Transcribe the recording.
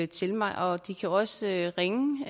til mig og de kan også ringe